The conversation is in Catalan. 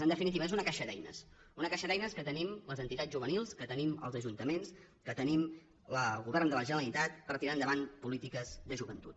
en definitiva és una caixa d’eines una caixa d’eines que tenim les entitats juvenils que tenim els ajuntaments que tenim el govern de la generalitat per tirar endavant polítiques de joventut